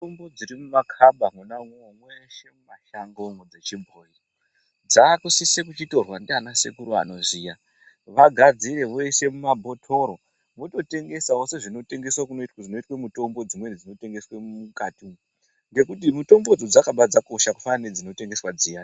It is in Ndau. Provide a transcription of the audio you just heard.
Mutombo dziri mu makaba mwona imwomwo meshe mu mashango mo dzechi bhoyi dzaku sise kuchi torwa ndiana sekuru anoziya vagadzire voise mu mabhotoro voto tengesawo sezvino tengeswa zvinoitwe mutombo dzimweni dzino tengeswe mukati umu ngekuti mutombo idzo dzakabva dzakosha kufanana nedzini tengeswa dziyani.